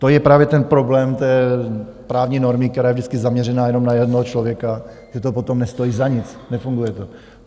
To je právě ten problém té právní normy, která je vždycky zaměřená jenom na jednoho člověka, že to potom nestojí za nic, nefunguje to.